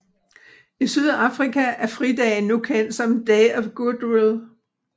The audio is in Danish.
I Sydafrika er fridagen nu kendt som Day of Goodwill